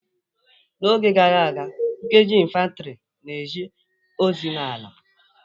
N'oge gara aga, nkeji lnfantri na-eje ozi n'ala.